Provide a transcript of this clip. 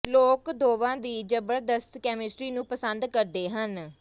ਲੋਕ ਦੋਵਾਂ ਦੀ ਜ਼ਬਰਦਸਤ ਕੈਮਿਸਟਰੀ ਨੂੰ ਪਸੰਦ ਕਰਦੇ ਹਨ